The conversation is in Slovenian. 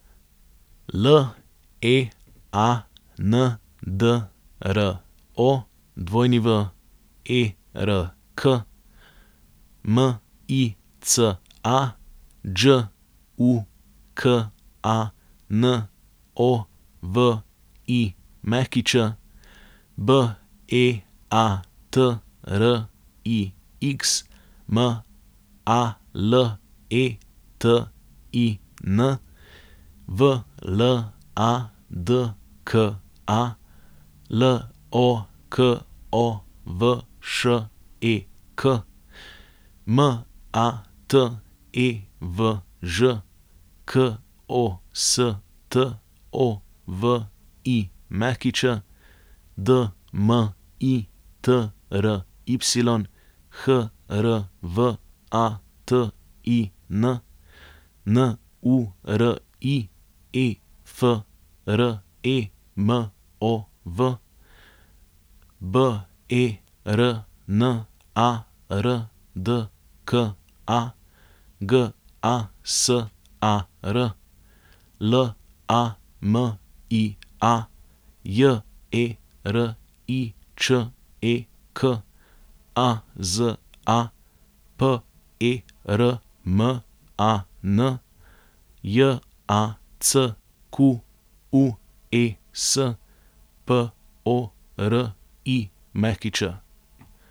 Leandro Werk, Mica Đukanović, Beatrix Maletin, Vladka Lokovšek, Matevž Kostović, Dmitry Hrvatin, Nuri Efremov, Bernardka Gasar, Lamia Jeriček, Aza Perman, Jacques Porić.